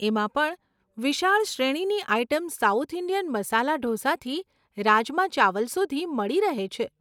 એમાં પણ વિશાળ શ્રેણીની આઇટમ સાઉથ ઇન્ડિયન મસાલા ઢોસાથી રાજમા ચાવલ સુધી મળી રહે છે.